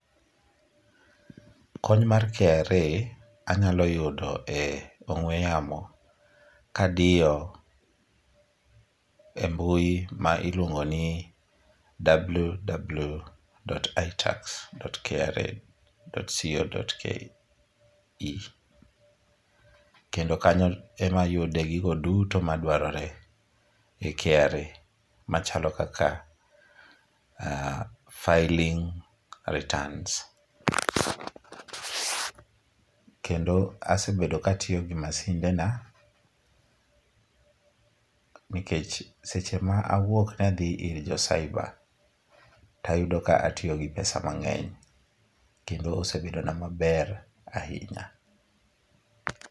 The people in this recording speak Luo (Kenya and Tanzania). Kony mar KRA anylo yudo e ong'we yamo kadiyo e mbui ma iluongo ni "ww.itax.kra.co.ke". Kendo kanyo emayude gigo duto madwarore e KRA machalo kaka filing returns. Kendo asebedo katiyo gi masinde na, nikech seche ma awuok nadhi ir jo cyber, tayudo ka atiyo gi pesa mang'eny kendo osebedona maber anhinya.